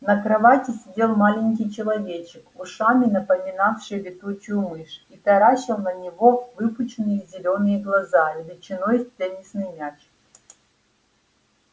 на кровати сидел маленький человечек ушами напоминавший летучую мышь и таращил на него выпученные зелёные глаза величиной с теннисный мяч